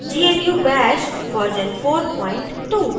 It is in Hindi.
gnu bash version 42